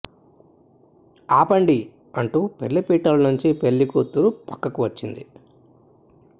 ఆపండి అంటూ పెళ్లి పీటల నుంచి పెళ్లి కూతురు పక్కకు వచ్చింది